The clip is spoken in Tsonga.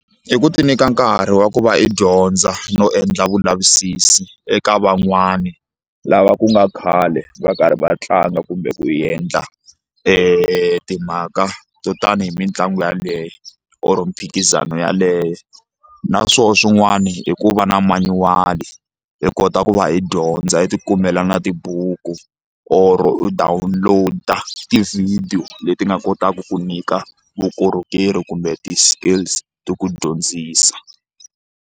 I ku ti nyika nkarhi wa ku va i dyondza no endla vulavisisi eka van'wani lava ku nga khale va karhi va tlanga kumbe ku endla timhaka to tani hi mitlangu yaleyo or mphikizano yaleyo na swoho swin'wani i ku va na manyuwali hi kota ku va hi dyondza i ti kumela na tibuku or u download tivhidiyo leti nga kotaka ku nyika vukorhokeri kumbe ti-skills ti ku dyondzisa.